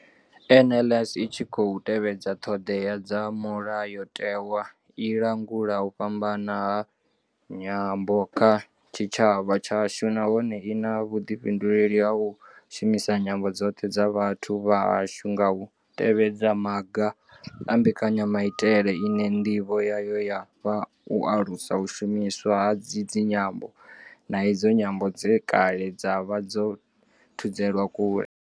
NLS i tshi khou tevhedza ṱhodea dza mulayotewa, i langula u fhambana ha nyambo kha tshitshavha tshashu nahone I na vhuḓifhinduleli ha u shumisa nyambo dzoṱhe dza vhathu vha hashu nga u tevhedza maga a mbekanyamaitele ine nḓivho yayo ya vha u alusa u shumiswa ha idzi nyambo, na idzo nyambo dze kale dza vha dzo thudzelwa kule.